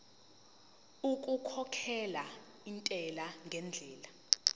okukhokhela intela ngendlela